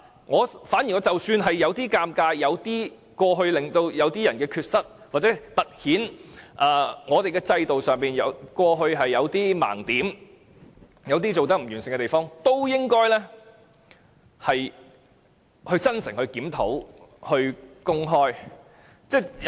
即使政府有些尷尬，即使公開資料會凸顯某些人有缺失、制度有某些盲點、有做得不完善的地方，政府也應該公開資料、真誠檢討。